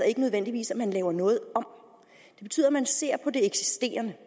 ikke nødvendigvis at man laver noget om det betyder at man ser på det eksisterende